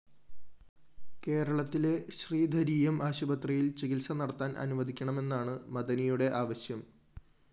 കേരളത്തിതിലെ ശ്രീധരീയം ആശുപത്രിയില്‍ ചികിത്സ നടത്താന്‍ അനുവദിക്കണമെന്നാണ് മദനിയുടെ ആവശ്യം